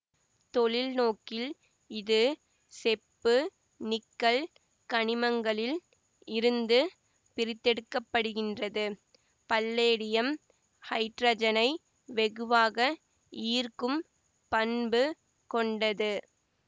தொழில்நோக்கில் இது செப்புநிக்கல் கனிமங்களில் இருந்து பிரித்தெடுக்க படுகின்றது பல்லேடியம் ஹைட்ரஜனை வெகுவாக ஈர்க்கும் பண்பு கொண்டது